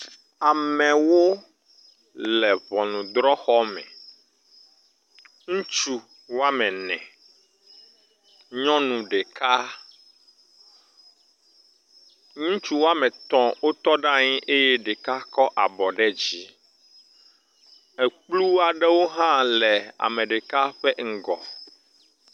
Amewo le ŋɔnudrɔxɔ me, ŋutsu woame ene, nyɔnu ɖeka, ŋutsu woame etɔ̃ wotɔ ɖe anyi eye ɖeka kɔ abɔ ɖe dzi. Ekplu aɖewo hã le ame ɖeka ƒe ŋgɔ.